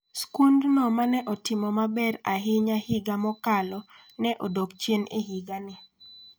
Skundno ma ne otimo maber ahinya higa mokalo ne odok chien e higani.